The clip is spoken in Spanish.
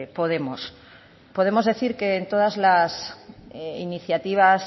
podemos podemos decir que en todas las iniciativas